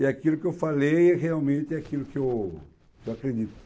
E aquilo que eu falei realmente é aquilo que eu que eu acredito.